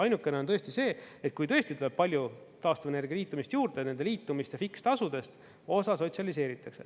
Ainukene on tõesti see, et kui tõesti tuleb palju taastuvenergia liitumist juurde, nende liitumiste fiks tasudest osa sotsialiseeritakse.